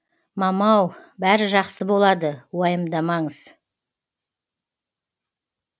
мамау бәрі жақсы болады уайымдамаңыз